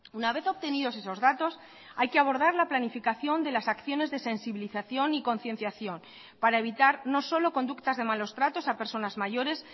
una vez obtenidos esos datos hay que abordar la planificación de las acciones de sensibilización y concienciación para evitar no solo conductas de malos tratos a personas mayores